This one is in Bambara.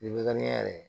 Likani yɛrɛ